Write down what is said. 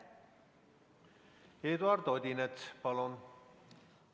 Eduard Odinets, palun!